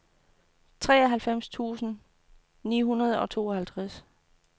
treoghalvtreds tusind ni hundrede og tooghalvtreds